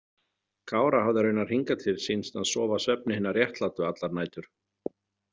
Kára hafði raunar hingað til sýnst hann sofa svefni hinna réttlátu allar nætur.